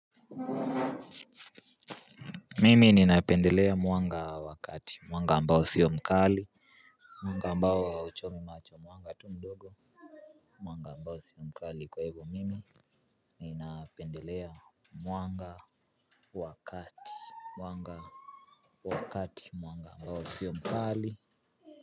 Mimi ninapendelea mwanga wa kati mwanga ambao sio mkali. Mwanga ambao hauchomi macho mwanga tu mdogo. Mwanga ambao sio mkali kwa hivyo mimi ninapendelea mwanga wa kati. Mwanga wa kati mwanga ambao sio mkali.